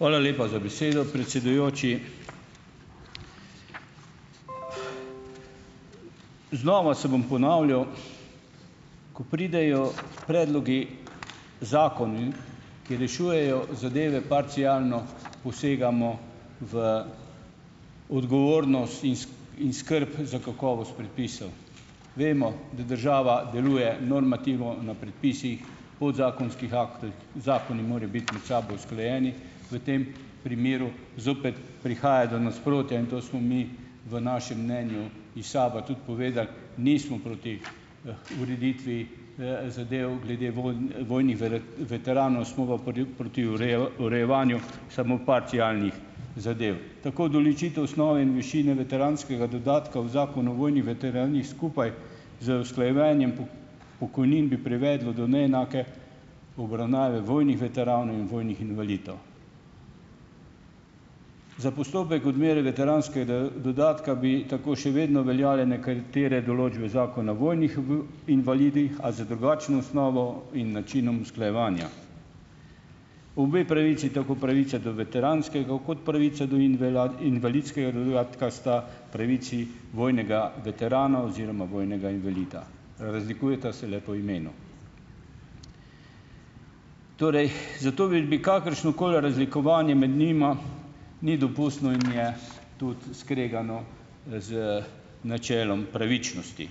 Hvala lepa za besedo, predsedujoči. Znova se bom ponavljal. Ko pridejo predlogi zakonov in, ki rešujejo zadeve parcialno, posegamo v odgovornost in skrb za kakovost predpisov. Vemo, da država deluje normativno na predpisih, podzakonskih aktov, zakoni morajo biti med sabo usklajeni. V tem primeru zopet prihaja do nasprotja in to smo mi v našem mnenju iz SAB-a tudi povedali. Nismo proti, ureditvi, zadev glede vojnih veteranov, smo pa proti urejevanju samo parcialnih zadev. Tako določitev osnove in višine veteranskega dodatka v Zakonu o vojnih veteranih skupaj z usklajevanjem pokojnin bi privedlo do neenake obravnave vojnih veteranov in vojnih invalidov. Za postopek odmere veteranskega dodatka bi tako še vedno veljale nekatere določbe zakona vojnih invalidih, a z drugačno osnovo in načinom usklajevanja. Obe pravici, tako pravica do veteranskega kot pravica do invalidskega dodatka, sta pravici vojnega veterana oziroma vojnega invalida. Razlikujeta se le po imenu. Torej zato da bi kakršnokoli razlikovanje med njima ni dopustno in je tudi skregano z načelom pravičnosti.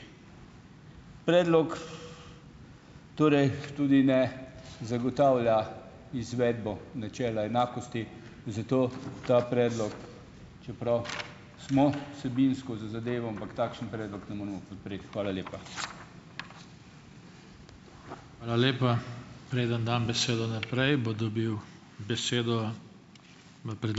Predlog torej tudi ne zagotavlja izvedbo načela enakosti, zato ta predlog, čeprav smo vsebinsko za zadevo, ampak takšen predlog ne moremo podpreti. Hvala lepa.